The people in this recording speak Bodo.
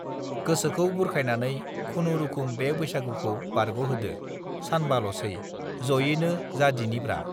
गोसाखौ बुरखायनानै खुनुरूखुम बे बैसागुखौ बारगहोदो सानबालसै जयैनो जादिनिब्रा